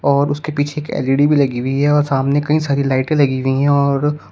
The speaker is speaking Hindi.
और उसके पीछे एक एल_ई_डी भी लगी हुई है और सामने कई सारी लाइटें लगी हुई है और --